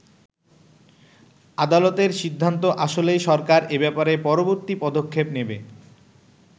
আদালতের সিদ্ধান্ত আসলেই সরকার এ ব্যাপারে পরবর্তী পদক্ষেপ নেবে।